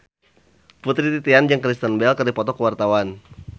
Putri Titian jeung Kristen Bell keur dipoto ku wartawan